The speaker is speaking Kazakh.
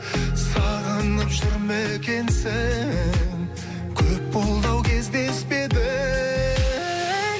сағынып жүр ме екенсің көп болды ау кездеспедік